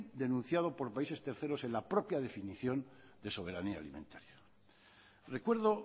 denunciado por países terceros en la propia definición de soberanía alimentaria recuerdo